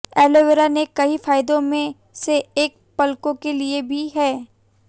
aloe vera के कई फायदों में से एक पलकों के लिए भी है